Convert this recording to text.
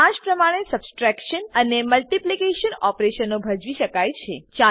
આજ પ્રમાણે સબટ્રેક્શન અને મલ્ટીપ્લીકેશન ઓપરેશનો ભજવી શકાય છે